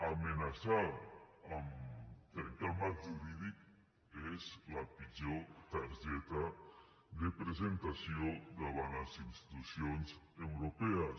amenaçar a trencar el marc jurídic és la pitjor targeta de presentació davant les institucions europees